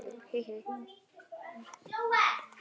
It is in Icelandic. Blessuð sé minning þín!